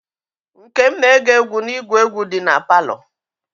Nkem na-ege egwu n'igwe egwu di na palọ.